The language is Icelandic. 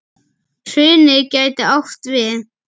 Hrunið gæti átt við